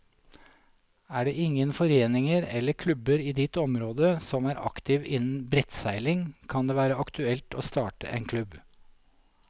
Er det ingen foreninger eller klubber i ditt område som er aktive innen brettseiling, kan det være aktuelt å starte en klubb.